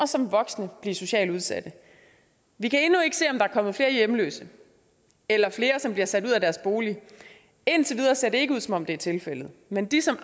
som voksne at blive socialt udsatte vi kan endnu ikke se om der er kommet flere hjemløse eller flere som er blevet sat ud af deres bolig indtil videre ser det ikke ud som om det er tilfældet men de som